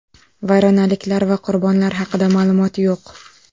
Vayronaliklar va qurbonlar haqida ma’lumot yo‘q.